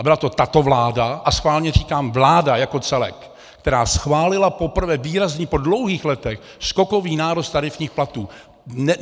A byla to tato vláda, a schválně říkám vláda jako celek, která schválila poprvé výrazný, po dlouhých letech, skokový nárůst tarifních platů.